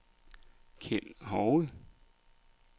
Kjeld Hove